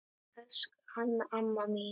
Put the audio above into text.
Elsku Anna amma mín.